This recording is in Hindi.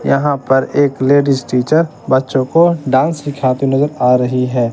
यहां पर एक लेडिस टीचर बच्चों को डांस सिखाती नजर आ रही है।